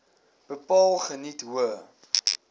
bepaal geniet hoë